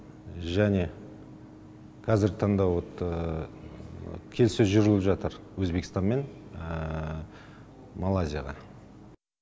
және қазіргі таңда вот келіссөз жүргізіліп жатыр өзбекстанмен малайзияға